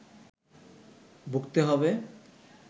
ভুগতে হবে